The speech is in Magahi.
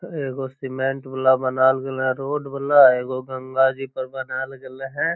एगो सीमेंट वाला बनाएल गेले हेय रोड वाला एगो गंगा जी पर बनाएल गेले हेय।